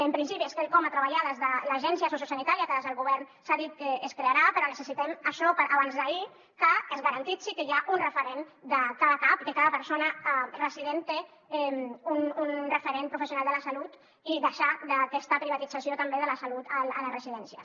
en principi és quelcom a treballar des de l’agència sociosanitària que des del govern s’ha dit que es crearà però necessitem això per a abans d’ahir que es garanteixi que hi ha un referent de cada cap i que cada persona resident té un referent professional de la salut i deixar aquesta privatització també de la salut a les residències